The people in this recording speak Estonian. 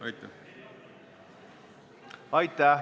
Aitäh!